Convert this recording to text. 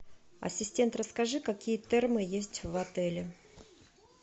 ассистент расскажи какие термы есть в отеле